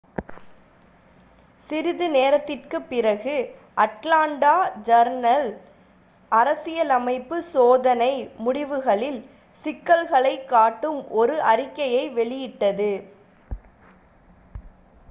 சிறிது நேரத்திற்குப் பிறகு அட்லாண்டா ஜர்னல்-அரசியலமைப்பு சோதனை முடிவுகளில் சிக்கல்களைக் காட்டும் ஒரு அறிக்கையை வெளியிட்டது